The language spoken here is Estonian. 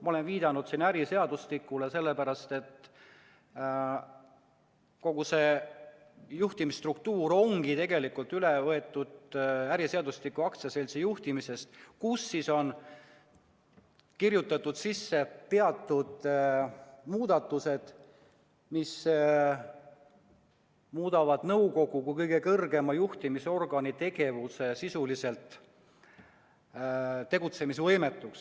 Ma olen viidanud siin äriseadustikule, seda sellepärast, et kogu see juhtimisstruktuur on tegelikult üle võetud äriseadustiku aktsiaseltsi juhtimise osast, kuhu on kirjutatud sisse teatud muudatused, mis muudavad nõukogu kui kõige kõrgema juhtimisorgani sisuliselt tegutsemisvõimetuks.